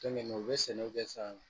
u bɛ sɛnɛw kɛ sa